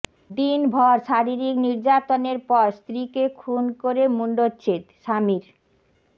দিনভর শারীরিক নির্যাতনের পর স্ত্রীকে খুন করে মুণ্ডচ্ছেদ স্বামীর